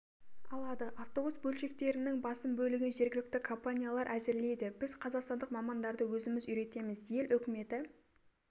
алады авобус бөлшектерінің басым бөлігін жергілікті компаниялар әзірлейді біз қазақстандық мамандарды өзіміз үйретеміз ел үкіметі